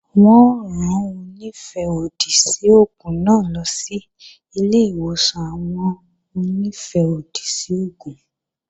Wọn ó rán Onífẹ́-òdì sí oògùn náà lọ sí ilé-ìwòsàn àwọn Onífẹ́-òdì sí oògùn